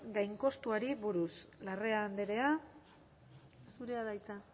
gainkostuari buruz larrea andrea zurea da hitza